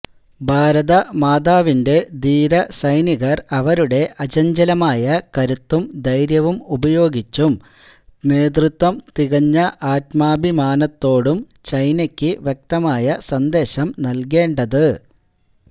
ഭാരതമാതാവിന്റെ ധീര സൈനികര് അവരുടെ അചഞ്ചലമായ കരുത്തും ധൈര്യവും ഉപയോഗിച്ചും നേതൃത്വം തികഞ്ഞ ആത്മാഭിമാനത്തോടും ചൈനക്ക് വ്യക്തമായ സന്ദേശം നല്കേണ്ടത്